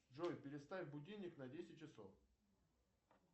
джой переставь будильник на десять часов